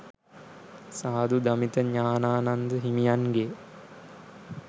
සාධු දමිත ඥානානන්ද හිමියන්ගෙ